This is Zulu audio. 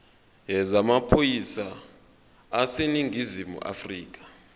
yezamaphoyisa aseningizimu afrika